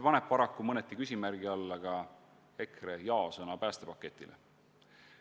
Paraku paneb see mõneti küsimärgi alla ka EKRE jaa-sõna päästepaketile.